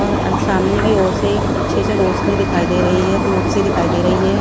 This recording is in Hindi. और सामने की ओर से एक अच्छे से रोशनी दिखाई दे रही है धूप से दिखाई दे रही है।